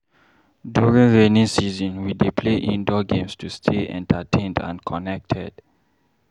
During rainy season, we dey play indoor games to stay entertained and connected.